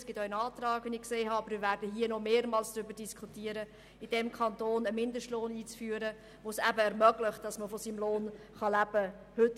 Wir werden hier noch mehrmals darüber diskutieren, in diesem Kanton einen Mindestlohn einzuführen, der es eben ermöglicht, dass man von seinem Lohn leben kann.